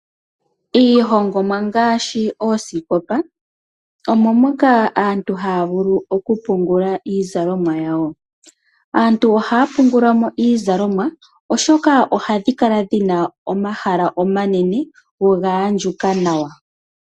Iihongomwa ngaashi oosikopa omo moka aantu havulu okupungula iizalomwa yawo. Aantu ohaa pungula mo iizalomwa, oshoka ohadhi kala dhi na omahala omanene gogaandjuka nawa.